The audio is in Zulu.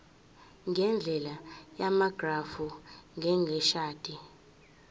ngendlela yamagrafu njengeshadi